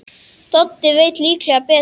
Doddi veit líklega betur.